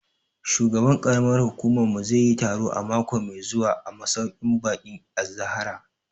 Shugaban ƙaramar hukumar mu zai yi taro mako mai zuwa a masauƙin baƙin Az-Zahra